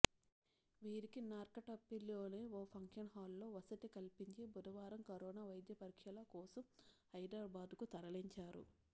వీరికి నార్కట్పల్లిలోని ఒక ఫంక్షన్ హాలులో వసతి కల్పించి బుధవారం కరోనా వైద్య పరీక్షల కోసం హైదరాబాద్కు తరలించారు